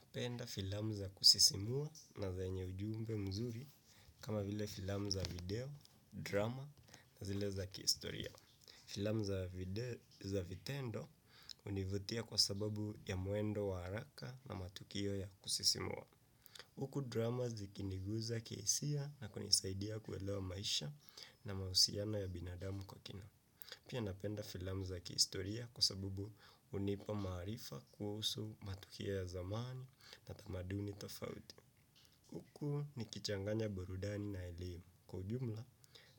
Napenda filamu za kusisimua na zenye ujumbe mzuri kama vile filamu za video, drama na zile za kihistoria. Filamu za vitendo hunivutia kwa sababu ya mwendo wa haraka na matukio ya kusisimua. Huku drama zikinigusa kihisia na kunisaidia kuelewa maisha na mahusiano ya binadamu kwa kina. Pia napenda filamu za kihistoria kwa sababu hunipa maarifa kuhusu matukio ya zamani na tamaduni tofauti. Huku nikichanganya burudani na elimu. Kwa ujumla